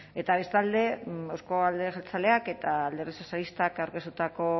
eta bestalde euzko alderdi jeltzaleak eta alderdi sozialistak aurkeztutako